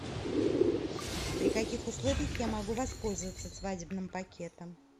при каких условиях я могу воспользоваться свадебным пакетом